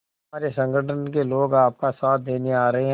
हमारे संगठन के लोग आपका साथ देने आ रहे हैं